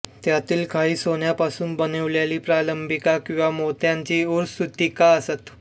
त्यांतील काही सोन्यापासून बनविलेली प्रालंबिका किंवा मोत्यांची उरस्सूत्रिका असत